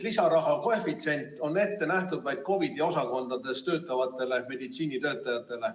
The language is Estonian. Lisaraha koefitsient on ette nähtud vaid COVID‑i osakondades töötavatele meditsiinitöötajatele.